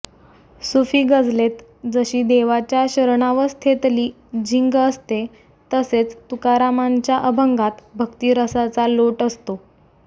सुफी गझलेत जशी देवाच्या शरणावस्थेतली झिंग असते तसेच तुकारामांच्या अभंगात भक्तिरसाचा लोट असतो